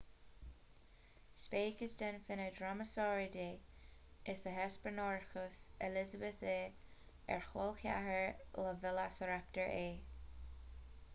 speiceas den fhine dromaeosauridae is ea hesperonychus elizabethae ar col ceathrair le veileasaraptar é